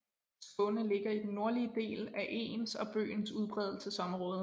Skåne ligger i den nordlige del af egens og bøgens udbredelsesområde